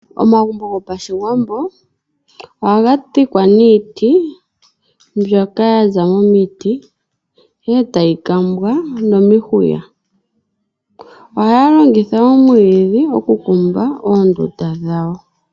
Omagumbo gopashiwambo ohaga dhikwa niiti mbyoka yaza momiti ihe etayi kambwa nomihuya. Ohaya longitha omwiidhi okukumba oondunda dhawo.